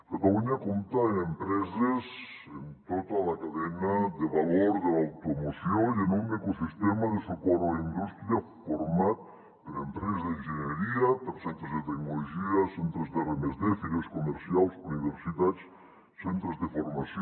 catalunya compta amb empreses en tota la cadena de valor de l’automoció i amb un ecosistema de suport a la indústria format per empreses d’enginyeria per centres de tecnologia centres d’r+d fires comercials universitats centres de formació